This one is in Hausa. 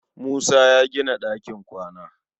Musa ya gina ɗakin kwana.